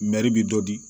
bi dɔ di